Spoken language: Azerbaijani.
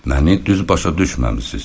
Məni düz başa düşməmisiniz.